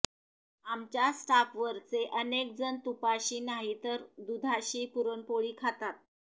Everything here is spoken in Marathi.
आमच्या स्टाफवरचे अनेक जण तुपाशी नाहीतर दुधाशी पुरणपोळी खातात